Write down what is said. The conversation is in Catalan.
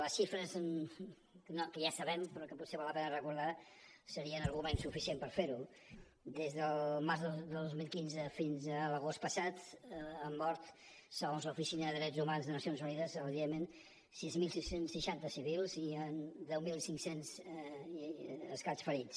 les xifres que ja sabem però que potser val la pena recordar serien argument suficient per fer ho des del març del dos mil quinze fins a l’agost passat han mort segons l’oficina de drets humans de nacions unides al iemen sis mil sis cents i seixanta civils i deu mil cinc cents i escaig ferits